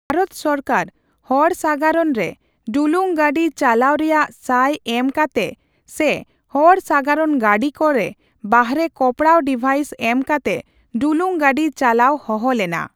ᱛᱷᱟᱤᱛ ᱥᱚᱨᱠᱟᱨ ᱦᱚᱲ ᱥᱟᱜᱟᱲᱚᱱ ᱨᱮ ᱰᱩᱞᱩᱝ ᱜᱟᱹᱰᱤ ᱪᱟᱞᱟᱣ ᱨᱮᱭᱟᱜ ᱥᱟᱭ ᱮᱢ ᱠᱟᱛᱮ ᱥᱮ ᱦᱚᱲ ᱥᱟᱜᱟᱲᱚᱱ ᱜᱟᱹᱰᱤ ᱠᱚᱨᱮ ᱵᱟᱨᱦᱮ ᱠᱚᱯᱲᱟᱣ ᱰᱤᱵᱷᱟᱭᱤᱥ ᱮᱢ ᱠᱟᱛᱮ ᱰᱩᱞᱩᱝ ᱜᱟᱹᱰᱤ ᱪᱟᱞᱟᱣ ᱦᱚᱦᱚ ᱞᱮᱱᱟ ᱾